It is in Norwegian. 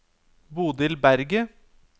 Bodil Berget